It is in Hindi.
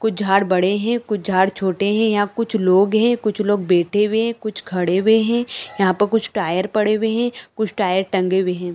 कुछ झाड़ बड़े है कुछ झाड़ छोटे है यहाँ कुछ लोग है कुछ लोग बैठे हुए है कुछ खड़े हुए है यहाँ पर कुछ टायर पड़े हुए है कुछ टायर टंगे हुए है।